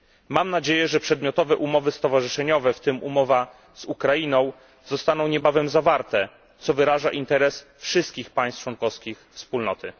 Mam nadzieję, że przedmiotowe umowy stowarzyszeniowe, w tym umowa z Ukrainą, zostaną niebawem zawarte, co wyraża interes wszystkich państw członkowskich Wspólnoty.